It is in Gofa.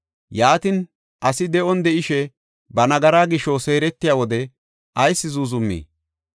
Yaatin, asi de7on de7ishe ba nagaraa gisho seeretiya wode ayis zuuzumii?